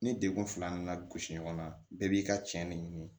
Ni degkun fila nana gosi ɲɔgɔn na bɛɛ b'i ka cɛn ne ɲini